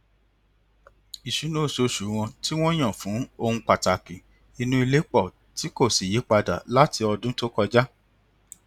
ìṣúná oṣooṣù wọn tí wọn yàn fún ohun pàtàkì inú ilé pọ tí kò sì yípadà láti ọdún tó kọjá